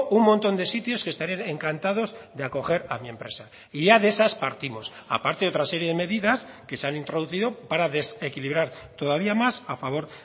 un montón de sitios que estarían encantados de acoger a mi empresa y ya de esas partimos aparte de otra serie de medidas que se han introducido para desequilibrar todavía más a favor